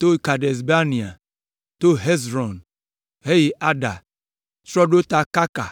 to Kades Barnea, to Hezron heyi Adar, trɔ ɖo ta Karka,